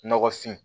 Nɔgɔfin